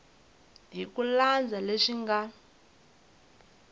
hi ku landza leswi nga